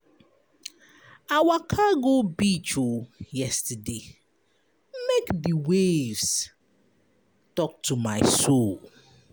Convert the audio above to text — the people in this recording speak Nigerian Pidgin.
I waka go beach yesterday make di waves tok to my soul.